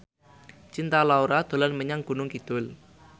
Cinta Laura dolan menyang Gunung Kidul